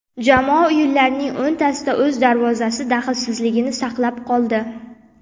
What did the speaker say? Jamoa o‘yinlarning o‘ntasida o‘z darvozasi daxlsizligini saqlab qoldi.